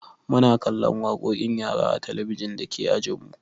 Muna kallon waƙoƙin yara a talabijin dake ajinmu.